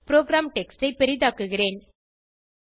program text ஐ பெரிதாக்குகிறேன்